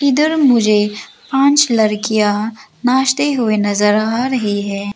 इधर मुझे पांच लड़कियां नाचते हुए नजर आ रही है।